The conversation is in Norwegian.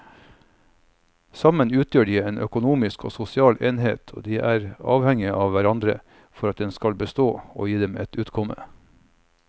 Sammen utgjør de en økonomisk og sosial enhet og de er avhengige av hverandre for at den skal bestå og gi dem et utkomme.